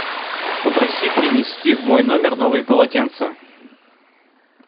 попроси принести в мой номер новые полотенца